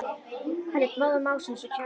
Hann lét móðan mása eins og kjáni.